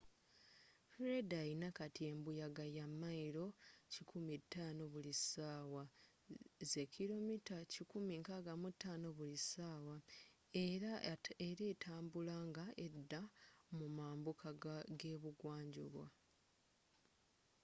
fred alina kati embuyaga ya mayiro 105 buli sawa 165km/h era etambula nga edda mu mambuka gebugwa njuba